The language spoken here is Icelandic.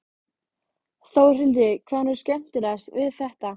Já, við vitum það en hver er hún þessi Magdalena?